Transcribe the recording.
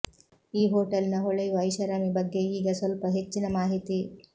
ಈ ಹೋಟೆಲ್ನ ಹೊಳೆಯುವ ಐಷಾರಾಮಿ ಬಗ್ಗೆ ಈಗ ಸ್ವಲ್ಪ ಹೆಚ್ಚಿನ ಮಾಹಿತಿ